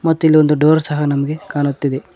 ಮತ್ತು ಇಲ್ಲೊಂದು ಡೋರ್ ಸಹ ನಮಗೆ ಕಾಣುತಿದೆ.